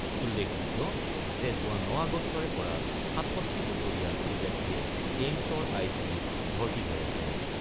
উল্লেখযোগ্য যে যোৱা ৯ আগষ্টৰে পৰা ৬৭ বছৰীয়া শ্ৰীজেটলিয়ে এইমছৰ আই চি ইউত ভৰ্তি হৈ আছে।